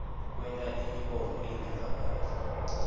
kwenta imibono ingevakali